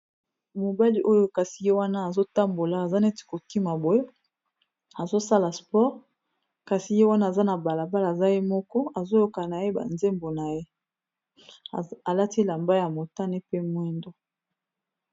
Mobali oyo kasi ye wana azotambola aza neti kokima boye azosala spore kasi ye wana aza na balabala aza ye moko azoyoka na ye banzembo na ye alati lamba ya motane pe mwindo.